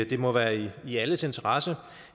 det må være i alles interesse